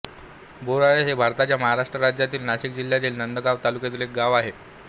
बोराळे हे भारताच्या महाराष्ट्र राज्यातील नाशिक जिल्ह्यातील नांदगाव तालुक्यातील एक गाव आहे